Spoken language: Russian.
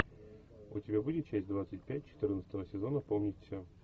у тебя будет часть двадцать пять четырнадцатого сезона помнить все